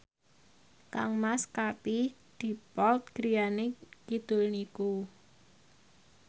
kangmas Katie Dippold griyane kidul niku